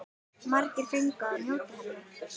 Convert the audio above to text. Margir fengu að njóta hennar.